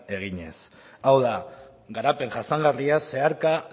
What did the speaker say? eginez hau da garapen jasangarria zeharka